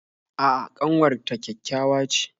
A'a ƙanwar ta ƙyaƙyawa ce